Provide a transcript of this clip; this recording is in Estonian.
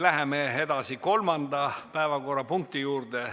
Läheme edasi kolmanda päevakorrapunkti juurde.